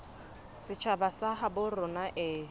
setjhaba sa habo rona e